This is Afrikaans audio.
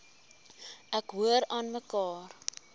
ek hoor aanmekaar